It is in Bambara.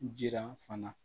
Jiran fana